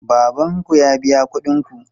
Baban ku ya biya kuɗin ku?